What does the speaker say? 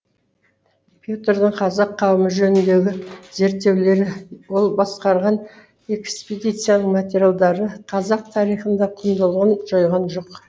петрдің қазақ қауымы жөніндегі зерттеулері ол басқарған экспедицияның материалдары қазақ тарихында құндылығын жойған жоқ